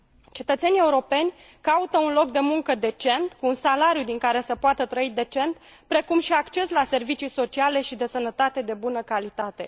Cetățenii europeni caută un loc de muncă decent, cu un salariu din care să poată trăi decent, precum și acces la servicii sociale și de sănătate de bună calitate.